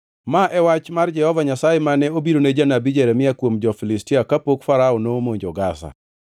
Ma e wach mar Jehova Nyasaye mane obirone janabi Jeremia kuom jo-Filistia kapok Farao nomonjo Gaza: